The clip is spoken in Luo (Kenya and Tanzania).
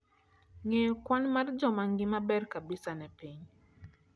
ngeyo kwan mar jo mangima ber kabisa ne piny